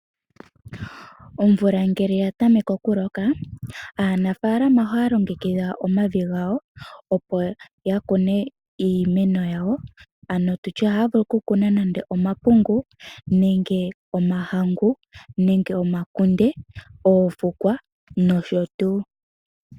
Omvula ngele ya tameke okuloka aanafaalama ohaya longekidha omavi gawo opo ya kune iimeno yawo. Ohaya vulu okukuna nande omapungu, omahangu, omakunde, oofukwa nosho tuu.